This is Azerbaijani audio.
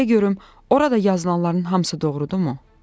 De görüm, orada yazılanların hamısı doğrudurmu?